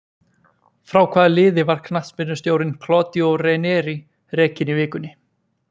Frá hvaða liði var knattspyrnustjórinn Claudio Ranieri rekinn í vikunni?